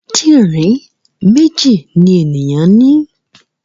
Kídìrín méjì ni ènìyàn ní.